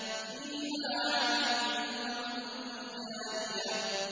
فِيهَا عَيْنٌ جَارِيَةٌ